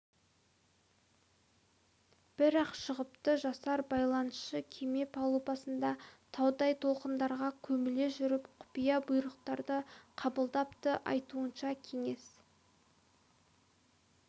бір-ақ шығыпты жасар байланысшы кеме палубасында таудай толқындарға көміле жүріп құпия бұйрықтарды қабылдапты айтуынша кеңес